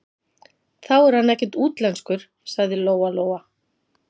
Þá er hann ekkert útlenskur, sagði Lóa-Lóa.